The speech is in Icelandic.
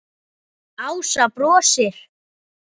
Ása brosir.